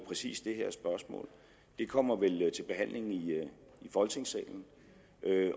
præcis det her spørgsmål det kommer vel til behandling i folketingssalen